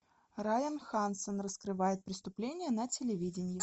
райан хансен раскрывает преступления на телевидении